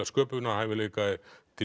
sköpunarhæfileika